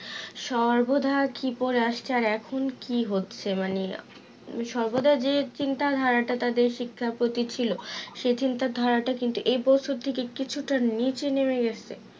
সময় বোধয় কি করে আসছে আর এখন কি হচ্ছে মানে সর্বদা যে চিন্তা ধারাটা তাদের শিক্ষার প্রতি ছিল সে চিন্তা ধারাটা কিন্তু এই বছর থেকে কিছুটা নিচে নাম গেছে